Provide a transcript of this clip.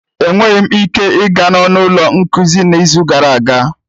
Enweghị m ike ịga n'ọnụ ụlọ nkuzi n'izu gara aga